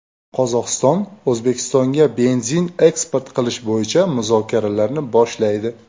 Qozog‘iston O‘zbekistonga benzin eksport qilish bo‘yicha muzokaralarni boshlaydi.